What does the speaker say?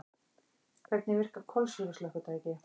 Hvernig virka kolsýru slökkvitæki?